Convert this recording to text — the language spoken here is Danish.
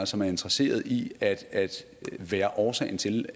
som er interesseret i at være årsagen til